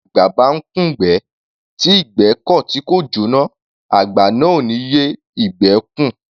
Bí àgbà bá ńkùn'gbẹ́, tí ìgbẹ́ kọ̀ tí kò jóná, àgbà náà ò ní yé ìgbẹ́ ẹ́ kùn.